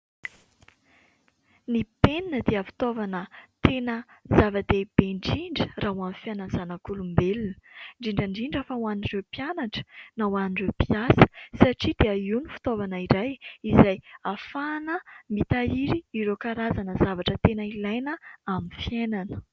Ny penina dia fitaovana tena zava-dehibe indindra raha ho amin'ny fiainana zanak'olombelona, indrindra indrindra fa ho an'ireo mpianatra na ho an'ireo mpiasa satria dia io ny fitaovana iray izay ahafahana mitahiry ireo karazana zavatra tena ilaina amin'ny fiainana.